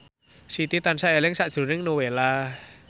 Siti tansah eling sakjroning Nowela